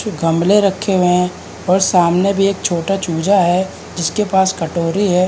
कुछ गमले रखे हुए हैं और सामने भी एक छोटा चूजा है जिसके पास कटोरी है।